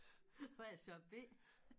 Og jeg er så B